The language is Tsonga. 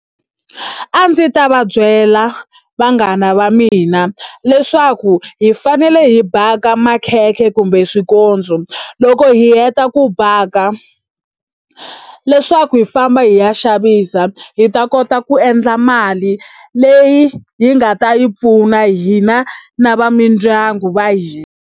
A ndzi ta va byela vanghana va mina leswaku hi fanele hi baka makhekhe kumbe swikotso loko hi heta ku baka leswaku hi famba hi ya xavisa hi ta kota ku endla mali leyi hi nga ta yi pfuna hina na va mindyangu va hina.